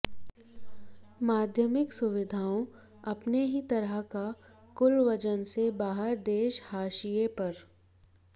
माध्यमिक सुविधाओं अपने ही तरह का कुल वजन से बाहर देश हाशिए पर